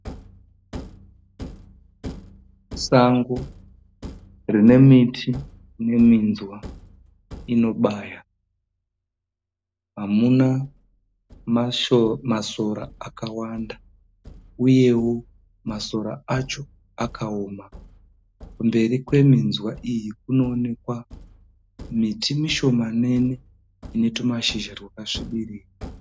Sango rine miti ine minzwa inobaya, hamuna masora akawanda uyewo masora acho akawoma. Kumberi kweminzwa iyi kunoonekwa miti mishomanene ine tumashizha twakasvibirira.